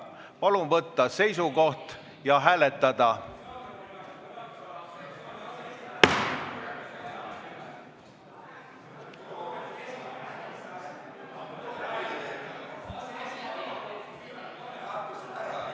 Palun võtta seisukoht ja hääletada!